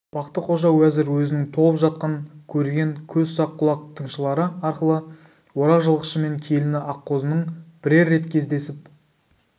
бақты-қожа уәзір өзінің толып жатқан көреген көз сақ құлақ тыңшылары арқылы орақ жылқышымен келіні аққозының бірер рет кездесіп